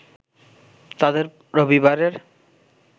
তাদের রবিবারের